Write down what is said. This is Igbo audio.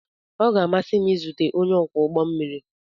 Ọ ga-amasị m izute onye ọkwọ ụgbọ mmiri.